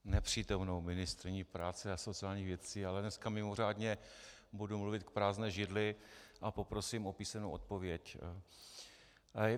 Nepřítomnou ministryni práce a sociálních věcí, ale dneska mimořádně budu mluvit k prázdné židli a poprosím o písemnou odpověď.